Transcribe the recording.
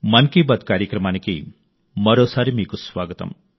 మన్ కీ బాత్ కార్యక్రమానికి మరోసారి మీకు స్వాగతం